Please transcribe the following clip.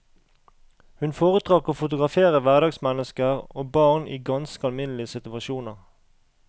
Hun foretrakk å fotografere hverdagsmennesker og barn i ganske alminnelige situasjoner.